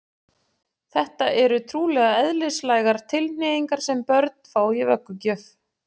Þetta eru trúlega eðlislægar tilhneigingar sem börn fá í vöggugjöf.